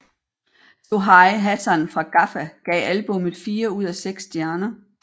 Sohail Hassan fra Gaffa gav albummet fire ud af seks stjerner